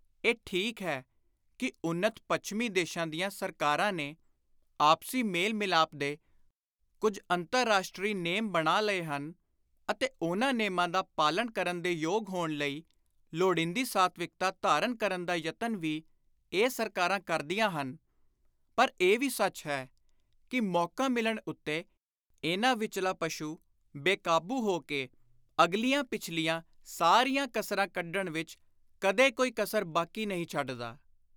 ਇਹ ਠੀਕ ਹੈ ਕਿ ਉੱਨਤ ਪੱਛਮੀ ਦੇਸ਼ਾਂ ਦੀਆਂ ਸਰਕਾਰਾਂ ਨੇ ਆਪਸੀ ਮੇਲ-ਮਿਲਾਪ ਦੇ ਕੁਝ ਅੰਤਰ-ਰਾਸ਼ਟਰੀ ਨੇਮ ਬਣਾ ਲਏ ਹਨ ਅਤੇ ਉਨ੍ਹਾਂ ਨੇਮਾਂ ਦਾ ਪਾਲਣ ਕਰਨ ਦੇ ਯੋਗ ਹੋਣ ਲਈ ਲੋੜੀਂਦੀ ਸਾਤਵਿਕਤਾ ਧਾਰਨ ਕਰਨ ਦਾ ਯਤਨ ਵੀ ਇਹ ਸਰਕਾਰਾਂ ਕਰਦੀਆਂ ਹਨ, ਪਰ ਇਹ ਵੀ ਸੱਚ ਹੈ ਕਿ ਮੌਕਾ ਮਿਲਣ ਉੱਤੇ ਇਨ੍ਹਾਂ ਵਿਚਲਾ ਪਸ਼ੂ ਬੇਕਾਬੁ ਹੋ ਕੇ ਅਗਲੀਆਂ ਪਿਛਲੀਆਂ ਸਾਰੀਆਂ ਕਸਰਾਂ ਕੱਢਣ ਵਿਚ ਕਦੇ ਕੋਈ ਕਸਰ ਬਾਕੀ ਨਹੀਂ ਛੱਡਦਾ।